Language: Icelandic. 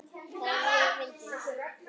Það er mjög fyndið.